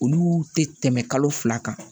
Olu tɛ tɛmɛ kalo fila kan